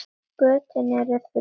Götin eru þrjú.